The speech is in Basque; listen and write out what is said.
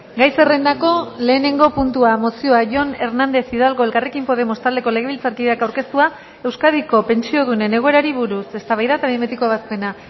gai zerrendako lehenengo puntua mozioa jon hernández hidalgo elkarrekin podemos taldeko legebiltzarkideak aurkeztua euskadiko pentsiodunen egoerari buruz eztabaida eta behin betiko ebazpena